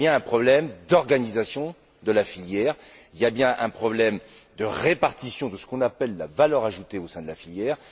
Il y a donc bien un problème d'organisation de la filière, il y a bien un problème de répartition de ce qu'on appelle la valeur ajoutée au sein de la filière.